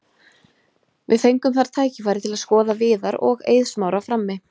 Við fengum þar tækifæri til að skoða Viðar og Eið Smára frammi.